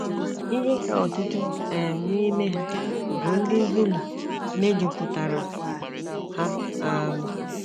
Ihe ka ọtụtụ um n’ime ha bụ ndị Zulu mejupụtara ha. um